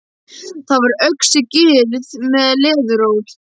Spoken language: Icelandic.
Þar var og öxi gyrð með leðuról.